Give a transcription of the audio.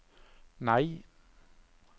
nei